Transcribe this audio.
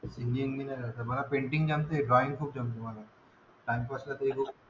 Painting जमते and drawing खूप चांगले जमते मला.